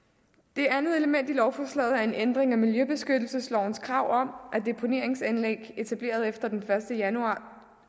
det andet element i lovforslaget er en ændring af miljøbeskyttelseslovens krav om at deponeringsanlæg etableret efter den første januar